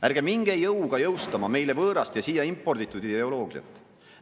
Ärge minge jõuga jõustama meile võõrast ja siia imporditud ideoloogiat!